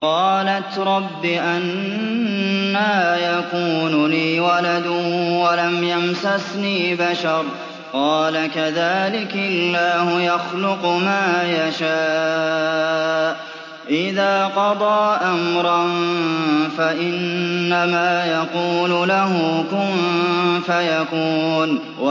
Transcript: قَالَتْ رَبِّ أَنَّىٰ يَكُونُ لِي وَلَدٌ وَلَمْ يَمْسَسْنِي بَشَرٌ ۖ قَالَ كَذَٰلِكِ اللَّهُ يَخْلُقُ مَا يَشَاءُ ۚ إِذَا قَضَىٰ أَمْرًا فَإِنَّمَا يَقُولُ لَهُ كُن فَيَكُونُ